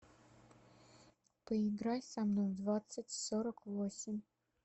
поиграй со мной в двадцать сорок восемь